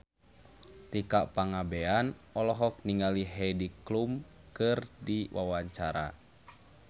Tika Pangabean olohok ningali Heidi Klum keur diwawancara